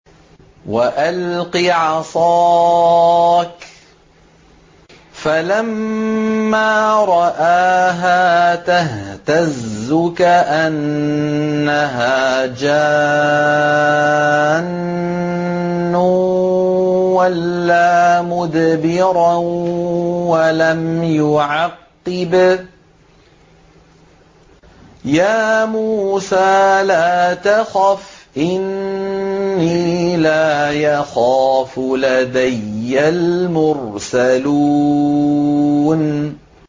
وَأَلْقِ عَصَاكَ ۚ فَلَمَّا رَآهَا تَهْتَزُّ كَأَنَّهَا جَانٌّ وَلَّىٰ مُدْبِرًا وَلَمْ يُعَقِّبْ ۚ يَا مُوسَىٰ لَا تَخَفْ إِنِّي لَا يَخَافُ لَدَيَّ الْمُرْسَلُونَ